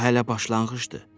Bu hələ başlanğıcdır.